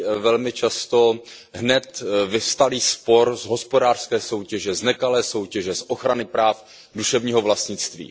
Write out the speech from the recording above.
velmi často hned vyvstalý spor z hospodářské soutěže, z nekalé soutěže, z ochrany práv duševního vlastnictví.